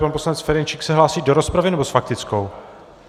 Pan poslanec Ferjenčík se hlásí do rozpravy, nebo s faktickou?